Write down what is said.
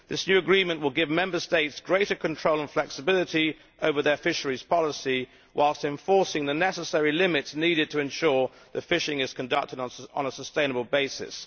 This new agreement will give Member States greater control and flexibility over their fisheries policy, whilst enforcing the necessary limits needed to ensure that fishing is conducted on a sustainable basis.